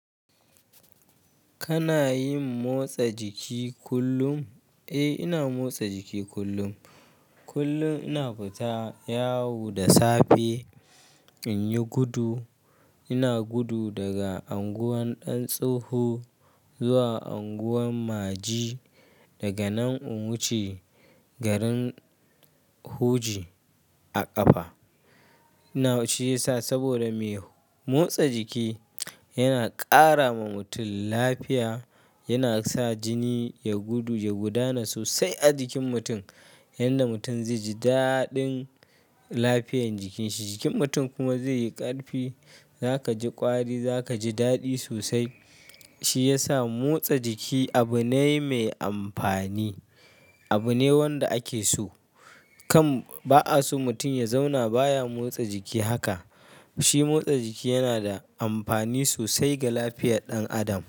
Kana yin motsa jiki kullum? Eh, ina motsa jiki kullum. Kullum ina fita yawo da safe in yi gudu. Ina gudu daga unguwan ɗan Tsoho zuwa unguwan Maji. Daga nan in wuce garin Hoji a ƙafa. Ina shi yasa saboda me motsa jiki yana ƙara wa mutum lafiya. Yana sa jini ya gudu, ya gudana sosai a jikin mutum. Yanda mutum zai ji daɗin lafiyan jikin shi. Jikin mutum kuma zai yi ƙarfi. Zaka ji ƙwari, zaka ji daɗi sosai, Shi ya sa motsa jiki abu ne mai amfani, abu ne wanda ake so. Kam ba a so mutum ya zauna baya motsa jiki haka. Shi motsa jiki yana da amfani sosai ga lafiyar ɗan adam.